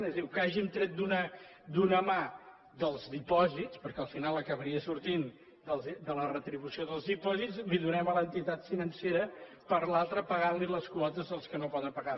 és a dir el que hàgim tret d’una mà dels dipòsits perquè al final acabaria sortint de la retribució dels dipòsits li ho donem a l’entitat financera i per l’altra pagant li les quotes als que no poden pagar